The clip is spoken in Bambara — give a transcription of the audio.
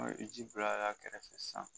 Ɔ i bi ji bila y'a kɛrɛfɛ san